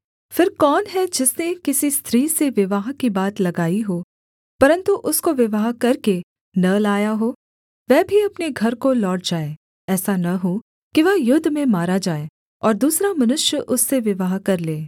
फिर कौन है जिसने किसी स्त्री से विवाह की बात लगाई हो परन्तु उसको विवाह करके न लाया हो वह भी अपने घर को लौट जाए ऐसा न हो कि वह युद्ध में मारा जाए और दूसरा मनुष्य उससे विवाह कर ले